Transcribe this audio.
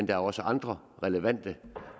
der også andre relevante